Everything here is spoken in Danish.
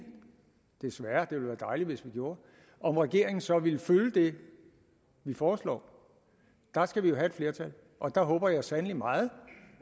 desværre det ville være dejligt hvis vi gjorde om regeringen så vil følge det vi foreslår der skal vi jo have flertal og der håber jeg sandelig meget